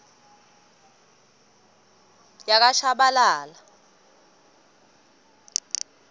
yakashabalala